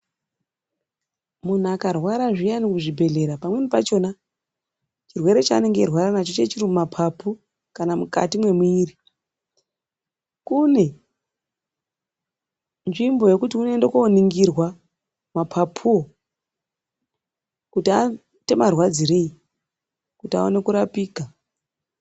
Muntu akarwara zviyani kuzvibhedhlera pamweni pachona chirwere chanenge achirwara nacho chinenge chiri mumapapu. Kana mukati mwemwiri kune nzvimbo yekuti inoenda koningirwa mapapu wo kuti anoita marwadzirei kuti aone kurapika.